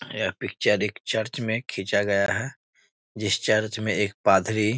यह पिक्चर एक चर्च में खिंचा गया है जिस चर्च में एक पादरी --